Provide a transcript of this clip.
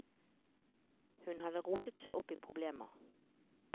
Hun hadde rotet seg opp i problemer.